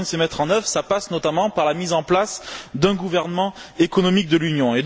Or, les moyens de les mettre en œuvre passent notamment par la mise en place d'un gouvernement économique de l'Union.